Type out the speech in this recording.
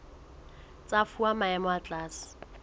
tsa fuwa maemo a tlase